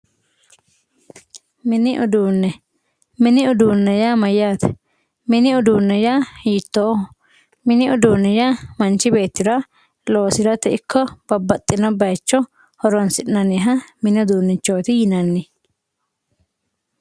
Mini uduunne, mini uduunne yaa mayyaate? mini uduunne yaa hiittoho? mini uduunne yaa loosirate ikko babbaxxino bayiicho horonsi'nanniha mini uduunnichooti yinanni.